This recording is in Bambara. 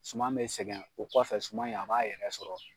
Suman bɛ sɛgɛn o kɔfɛ suman in a b'a yɛrɛ sɔrɔ.